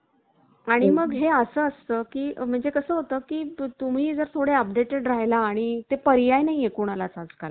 आणि मग हे असं असतं की म्हणजे कसं होतं की तुम्ही जर थोडे updated राहायला आणि ते पर्याय नाही ये कोणालाच आजकाल